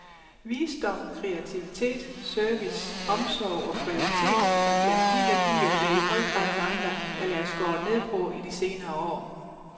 Visdom, kreativitet, service, omsorg og kvalitet, er blandt de værdier, der i høj grad mangler eller er skåret ned på i de senere år.